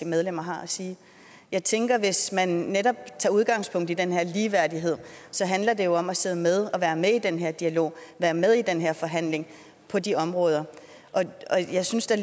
medlemmer har at sige jeg tænker at hvis man netop tager udgangspunkt i den her ligeværdighed handler det om at sidde med og være med i den her dialog være med i den her forhandling på de områder jeg synes der